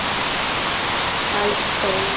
Ísbjörg skal í skóla.